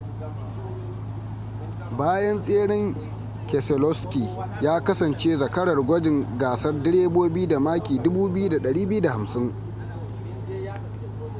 bayan tseren keselowski ya kasance zakarar gwajin gasar direbobi da maki 2,250